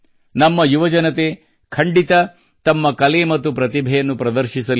ನಮ್ಮ ಯುವಜನತೆ ಖಂಡಿತ ತಮ್ಮ ಕಲೆ ಮತ್ತು ಪ್ರತಿಭೆಯನ್ನು ಪ್ರದರ್ಶಿಸಲಿ